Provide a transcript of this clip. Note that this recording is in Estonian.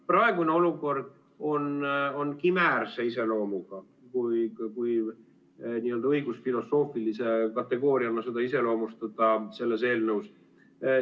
Praegune olukord on kimäärse iseloomuga, kui õigusfilosoofilise kategooriaga seda iseloomustada selles eelnõus.